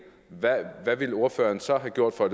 hvad ville ordføreren så have gjort for at